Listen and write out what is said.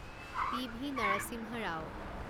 PV. Narasimha Rao